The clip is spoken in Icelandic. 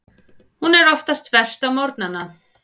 Hún er oftast verst á morgnana.